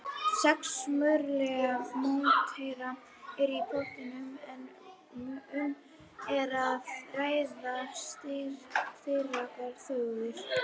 Sex mögulegir mótherjar eru í pottinum en um er að ræða sterkar þjóðir.